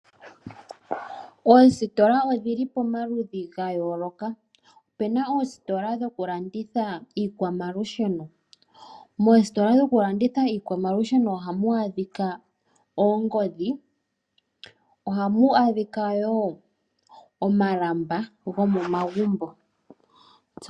Oositola odhi li pamaludhi ga yooloka, ope na oositola dhokulanditha iikwamalusheno. Moositola dhokulanditha iikwamalusheno ohamu adhika oongodhi, ohamu adhika wo omalamba go momagumbo.